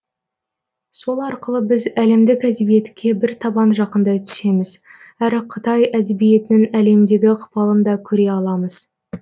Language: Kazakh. сол арқылы біз әлемдік әдебиетке бір табан жақындай түсеміз әрі қытай әдебиетінің әлемдегі ықпалын да көре аламыз